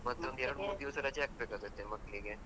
ಮತ್ತೊಂದು ಎರಡು ಮೂರ್ ದಿವಸ ರಜೆ ಹಾಕ್ಬೇಕಾಗ್ತದೆ ಮಕ್ಳಿಗೆ.